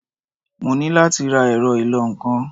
Mo ní láti ra ẹ̀rọ ìlọ-nǹkan.